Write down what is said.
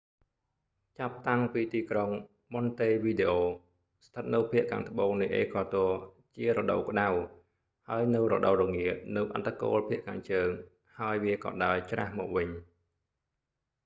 ចាប់តាំងពីទីក្រុង ម៉ុនតេវីដេអូ montevideo ស្ថិតនៅភាគខាងត្បូងនៃអេក្វាទ័រ វាជារដូវក្តៅ ហើយនៅរដូវរងានៅអឌ្ឍគោលភាគខាងជើងហើយវាក៏ដើរច្រាសមកវិញ